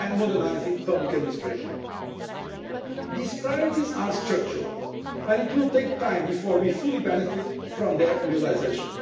and modernising public administration. These priorities are structural and it will take time before we fully benefit from their realisation.